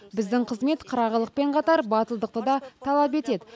біздің қызмет қырағылықпен қатар батылдықты да талап етеді